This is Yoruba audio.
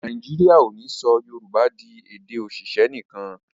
Nàìjíríà o ní sọ yorùbá dì èdè oṣiṣẹ nìkan.